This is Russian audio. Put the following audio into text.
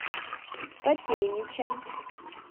котельничем